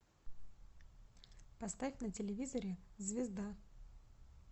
поставь на телевизоре звезда